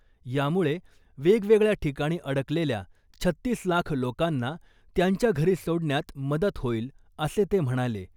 यामुळे वेगवेगळ्या ठिकाणी अडकलेल्या छत्तीस लाख लोकांना त्यांच्या घरी सोडण्यात मदत होईल , असं ते म्हणाले .